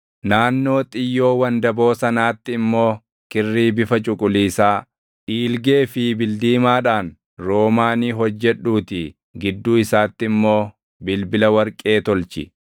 Naannoo xiyyoo wandaboo sanaatti immoo kirrii bifa cuquliisaa, dhiilgee fi bildiimaadhaan roomaanii hojjedhuutii gidduu isaatti immoo bilbila warqee tolchi.